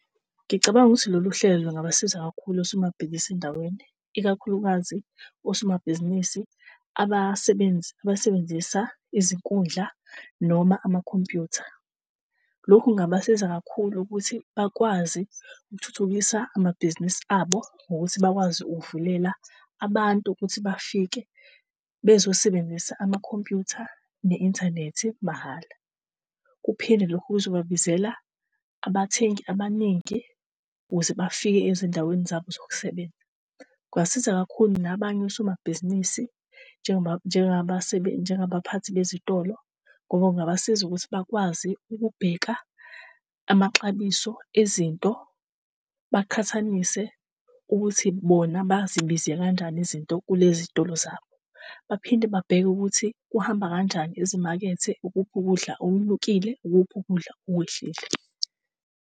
Ngicabanga ukuthi lolu hlelo lungabasiza kakhulu osomabhizinisi endaweni, ikakhulukazi osomabhizinisi abasebenzisa izinkundla noma amakhompyutha. Lokhu kungabasiza kakhulu ukuthi bakwazi ukuthuthukisa amabhizinisi abo ngokuthi bakwazi ukuvulela abantu ukuthi bafike bezosebenzisa amakhompyutha ne-internet mahhala. Kuphinde lokhu kuzobabizela abathengi abaningi ukuze bafike ezindaweni zabo zokusebenza. Kungasiza kakhulu nabanye osomabhizinisi njengoba njengabaphathi bezitolo, ngoba ungabasiza ukuthi bakwazi ukubheka amaxabiso ezinto, baqhathanise ukuthi bona bazibize kanjani izinto kulezi zitolo zabo. Baphinde babheke ukuthi kuhamba kanjani ezimakethe. Ukuphi ukudla okunyukile, ukuphi ukudla okwehlile